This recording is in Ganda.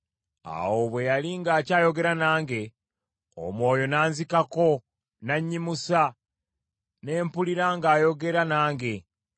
Awo bwe yali ng’akyayogera nange, Omwoyo nanzikako n’annyimusa, ne mpulira ng’ayogera nange.